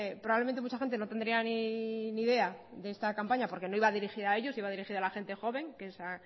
probablemente mucha gente no tendría ni idea de esta campaña porque no iba dirigida a ellos iba dirigida a la gente joven que es